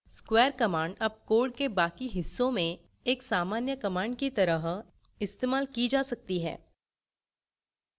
square command अब code के बाकी हिस्सों में एक सामान्य command की तरह इस्तेमाल की जा सकती है